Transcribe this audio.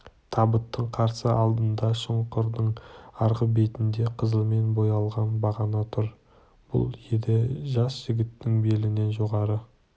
табыттың қарсы алдында шұңқырдың арғы бетінде қызылмен боялған бағана тұр бұл еді жас жігіттің белінен жоғарғы